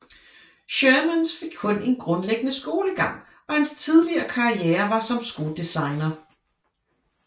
Shermans fik kun en grundlæggende skolegang og hans tidlige karriere var som skodesigner